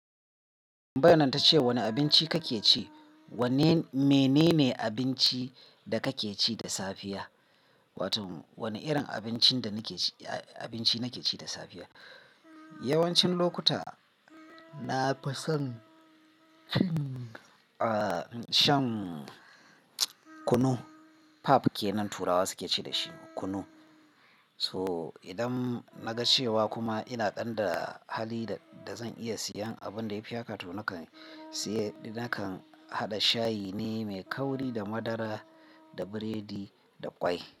Ambanan ta ce wane abinci kake ci? Wanne mene ne abinci da kake ci da safiya? Wato wane irin abincin da nake ci abinci nake ci da safiya. Yawancin lokuta na fi son a shan kunu. Pap kenan turawa suke ce dashi kunu. So idan na ga cewa kuma ina ɗan da hali da zan iya siyan abin da ya fi haka to nakan siye nakan haɗa shayi ne mai kauri da madara da biredi da ƙwai.